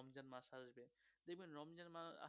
রমজান মাস আস্তে